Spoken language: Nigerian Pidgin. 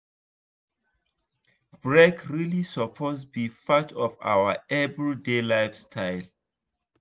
break really suppose be part of our everyday lifestyle.